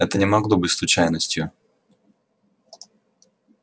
это не могло быть случайностью